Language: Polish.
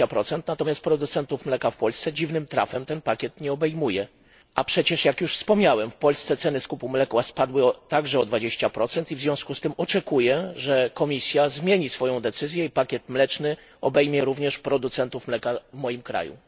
20. Natomiast producentów mleka w Polsce, dziwnym trafem, ten pakiet nie obejmuje. A przecież, jak już wspomniałem, w Polsce ceny skupu mleka spadły także o 20 i w związku z tym oczekuję, że Komisja zmieni swoją decyzję i pakiet mleczny obejmie również producentów mleka w moim kraju.